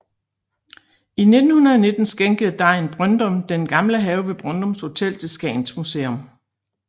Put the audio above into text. I 1919 skænkede Degn Brøndum den gamle have ved Brøndums Hotel til Skagens Museum